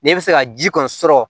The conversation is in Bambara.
N'e bɛ fɛ ka ji kɔni sɔrɔ